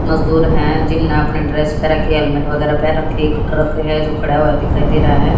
मजदूर हैं जिनने अपना ड्रेस पहन रखी है हेलमेट वगैरा पहन रखी है एक ट्रक है जो खड़ा हुआ दिखाई दे रहा है।